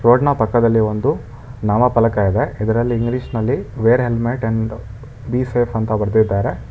ರೋಡ್ನ ಪಕ್ಕದಲ್ಲಿ ಒಂದು ನಾಮಪಲಕ ಇದೆ ಇದರಲ್ಲಿ ಇಂಗ್ಲೀಷ್ನಲ್ಲಿ wear helmet and be safe ಅಂತ ಬರ್ದಿದ್ದಾರೆ.